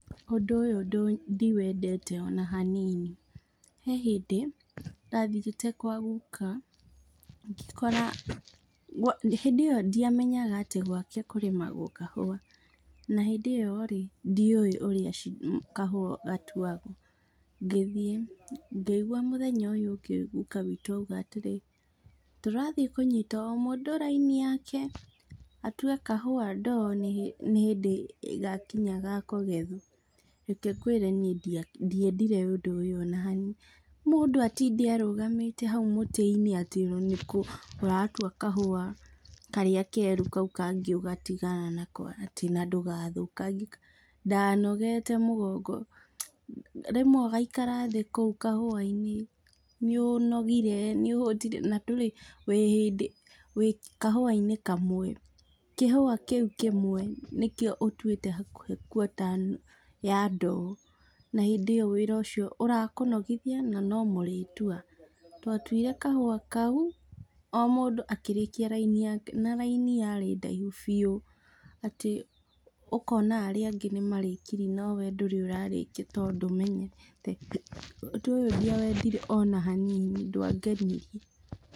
Ũndũ ũyũ ndiwendete ona hanini, he hĩndĩ ndathiĩte kwa guka ngĩkora, hĩndĩ ĩyo ndiamenyaga atĩ gwake kũrĩmagwo kahua, na hĩndĩ ĩyo rĩ ndioĩ ũrĩa kahau gatuagwo, ngĩthiĩ ngĩigua mũthenya ũyũ ũngĩ gũka witũ auga atĩrĩrĩ tũrathiĩ kũnyita o mũndũ raini yake atue kahau doo, nĩ hĩndĩ gakinya gakũgethwo , reke ngwĩre niĩ ndiendire ũndũ ũyũ ona hanini, mũndũ atĩ arũagamĩte hau mũtĩ-inĩ, atĩ nĩkũ ũratua kahau kau keru kau kangĩ ũgatigana nako, atĩ na ndũgathũkagie, ndanogete mũgongo, rĩmwe ũgaikara kũũ kahua-inĩ , nĩ ũnogire, nĩ ũhutire na ndũrĩ na gũtirĩ hĩndĩ, kahua-inĩ kamwe, kĩhua kĩu kĩmwe nĩkĩo ũtwĩte hakuhĩ quarter ya doo, na hĩndĩ ĩyo wĩra ũcio ũrakũnogithia na no mũrĩtua twa tũire kahua kau, o mũndũ akĩrĩkia raini yake, na raini yarĩ ndaihu biu, atĩ ũkona arĩa angĩ nĩ marĩkirie , no we ndũrĩ ũrarĩkia tondũ ndũmenyerete, ũndũ ũyũ ndiawendire ona hanini ndwangenirie.